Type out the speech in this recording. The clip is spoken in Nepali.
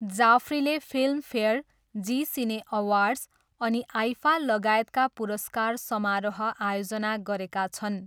जाफ्रीले फिल्मफेयर, जी सिने अवार्ड्स, अनि आइफा लगायतका पुरस्कार समारोह आयोजना गरेका छन्।